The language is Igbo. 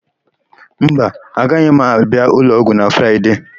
Mba, aga m abịa ụlọọgwụ na Fraịde.